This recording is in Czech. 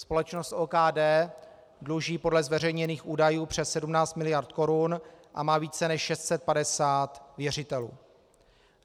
Společnost OKD dluží podle zveřejněných údajů přes 17 mld. korun a má více než 650 věřitelů.